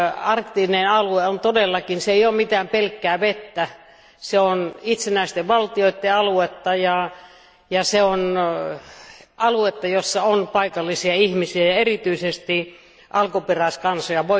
Arktinen alue ei todellakaan ole pelkkää vettä, se on itsenäisten valtioiden aluetta, ja se on aluetta, jossa on paikallisia ihmisiä ja erityisesti alkuperäiskansoja.